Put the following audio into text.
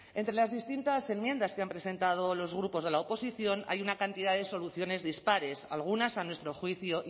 entre las distintas enmiendas que han presentado los grupos de la oposición hay una cantidad de soluciones dispares algunas a nuestro juicio